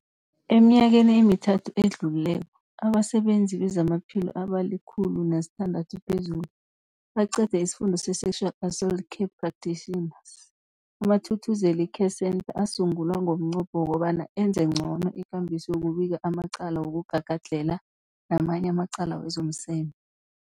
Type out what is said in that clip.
Eminyakeni emithathu edluleko, abasebenzi bezamaphilo abali-106 baqede isiFundo se-Sexual Assault Care Practitioners. AmaThuthuzela Care Centres asungulwa ngomnqopho wokobana enze ngcono ikambiso yokubika amacala wokugagadlhela namanye amacala wezomseme.